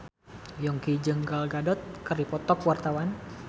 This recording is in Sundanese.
Yongki jeung Gal Gadot keur dipoto ku wartawan